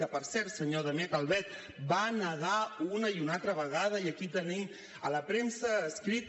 que per cert senyor damià calvet va negar una i una altra vegada i aquí ho tenim a la premsa escrita